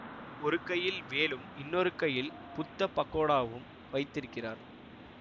ஒரு கையில் வேலும் இன்னொரு கையில் புத்த பகோடாவும் வைத்திருக்கிறார்